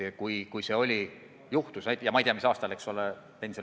Ja ma ei tea, mis aastal ta pensionile jäi.